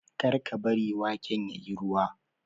kar ka bari waken ya yi ruwa!